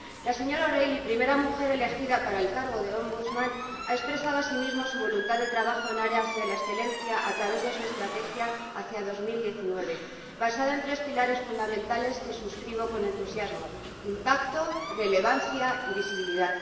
La señora O'Reilly, primera mujer elegida para el cargo de Defensor del Pueblo Europeo, ha expresado asimismo su voluntad de trabajo en aras de la excelencia a través de su estrategia Hacia 2019, basada en tres pilares fundamentales que suscribo con entusiasmo Impacto, Relevancia y Visibilidad.